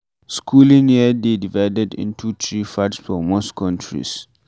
Schooling year dey divided into three parts for most countries